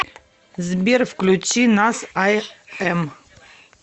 сбер включи нас ай эм